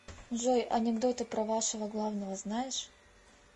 джой анекдоты про вашего главного знаешь